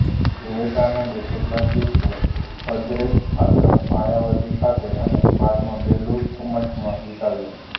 વિવેકાનંદે કેટલાક દિવસો અદ્વૈત આશ્રમ માયાવતી ખાતે અને બાદમાં બેલુર મઠમાં વિતાવ્યા